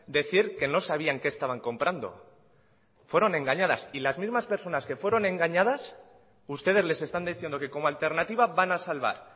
decir que no sabían qué estaban comprando fueron engañadas y las mismas personas que fueron engañadas ustedes les están diciendo que como alternativa van a salvar